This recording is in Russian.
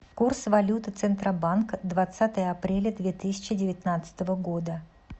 курс валюты центробанка двадцатое апреля две тысячи девятнадцатого года